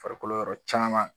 Farikolo yɔrɔ caman